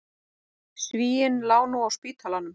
Svíinn lá nú á spítalanum.